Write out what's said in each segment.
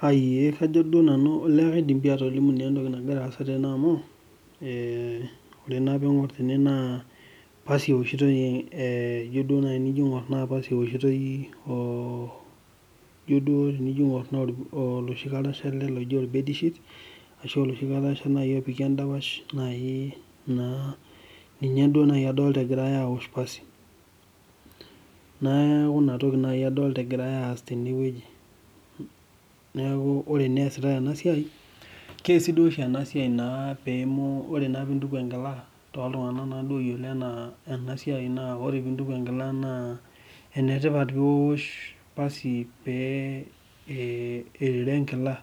kajo duo nanu kaidim atolimu entoki nagira asaa tene amu pasi ewoshitoi orbed shit oloshi karasha opiki edapash keesi duo oshi ena esiai ore pee entuku enkila naa enetipat pee ewosh pasi pee erere enkila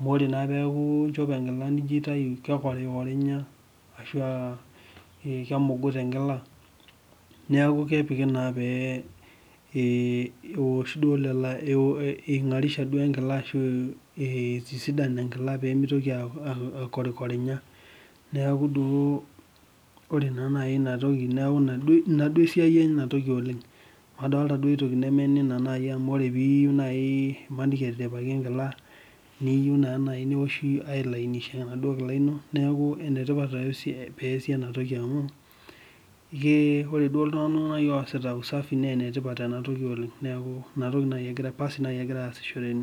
amu ore naa pee entuku enkila nijo aitau kekorinyakorinya ashua kemuguta enkila neeku kepiki pee eingarisha duo enkila ashu eitisidan enkila pee mitoki akorinya neeku duo ore duo enatoki neeku ena esiai enatoki oleng madolita duo esiai neme eninatoki amu ore pii yieu naaji emaniki etiripaki enkila naa eyieu naaji neoshi ailainisha enaduo kila ino neeku enetipat pee esiet ena toki amu ore duo iltung'ana oo sitaa usafi naa enetipat ena oleng neeku enatoki paasi naaji egirai asishore tene